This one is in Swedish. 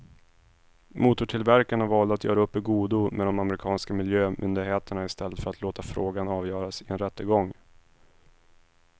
Motortillverkarna valde att göra upp i godo med de amerikanska miljömyndigheterna i stället för att låta frågan avgöras i en rättegång.